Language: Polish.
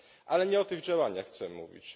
Ale nie o tych działaniach chcę mówić.